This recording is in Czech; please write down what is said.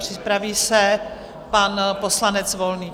Připraví se pan poslanec Volný.